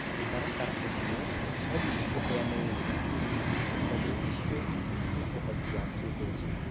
Mũtaratara ũcio no nginya ũheane wĩira atĩ honge icio cina ũhoti wa kimbeca.